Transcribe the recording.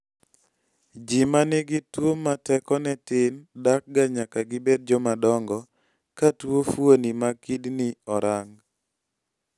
ji manigi tuwo ma tekone tin dakga nyaka gibed jomadongo ka tuwo fuoni ma kidney orang